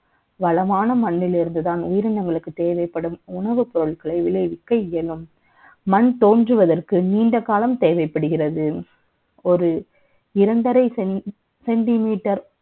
வளமான மண்ணில் இருந்து தான் உயிரினங்களுக்கு தேவைப்படும் உணவுப் பொருட்களை விளைவிக்க இயலும் மண் தோன்றுவதற்கு நீண்ட காலம் தேவைப்படுகிறது ஒரு இரண்டு அறை சென்டிமீட்டர்